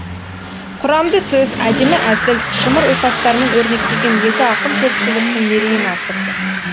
құрамды сөз әдемі әзіл шымыр ұйқастармен өрнектеген екі ақын көпшіліктің мерейін асырды